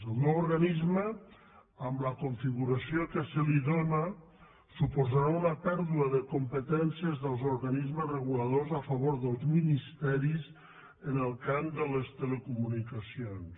el nou organisme amb la configuració que se li dóna suposarà una pèrdua de competències dels organismes reguladors a favor dels ministeris en el camp de les telecomunicacions